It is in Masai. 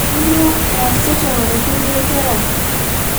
Kanyioo eeasita unkulie kera?